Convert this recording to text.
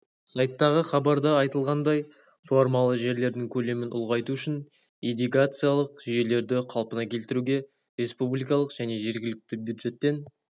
сайттағы хабарда айтылғандай суармалы жерлердің көлемін ұлғайту үшін ирригациялық жүйелерді қалпына келтіруге республикалық және жергілікті бюджеттен